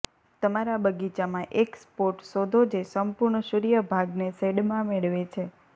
તમારા બગીચામાં એક સ્પોટ શોધો જે સંપૂર્ણ સૂર્ય ભાગને શેડમાં મેળવે છે